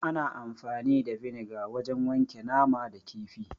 Ana amfani da vinegar wajen wanke nama da kifi.